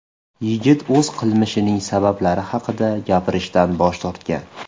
Yigit o‘z qilmishining sabablari haqida gapirishdan bosh tortgan.